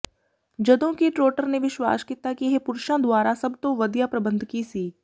ਜਦੋਂ ਕਿ ਟ੍ਰੌਟਰ ਨੇ ਵਿਸ਼ਵਾਸ ਕੀਤਾ ਕਿ ਇਹ ਪੁਰਸ਼ਾਂ ਦੁਆਰਾ ਸਭ ਤੋਂ ਵਧੀਆ ਪ੍ਰਬੰਧਕੀ ਸੀ